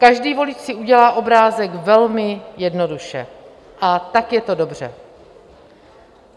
Každý volič si udělá obrázek velmi jednoduše, a tak je to dobře.